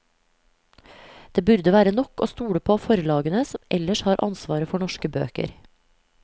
Det burde være nok å stole på forlagene som ellers har ansvaret for norske bøker.